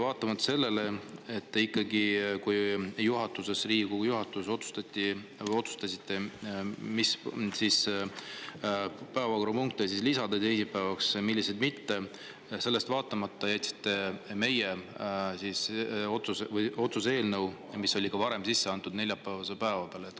Vaatamata sellele, ikkagi siis, kui Riigikogu juhatuses otsustasite, mis päevakorrapunkte lisada teisipäevaks ja milliseid mitte, te jätsite meie otsuse eelnõu, mis oli juba varem sisse antud, neljapäevase päeva peale.